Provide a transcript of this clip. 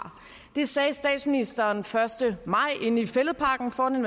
det sagde statsministeren den første maj inde i fælledparken foran